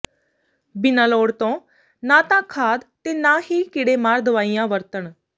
ਬਿਨਾਂ ਲੋੜ ਤੋਂ ਨਾ ਤਾਂ ਖਾਦ ਤੇ ਨਾ ਹੀ ਕੀੜੇਮਾਰ ਦਵਾਈਆਂ ਵਰਤਣ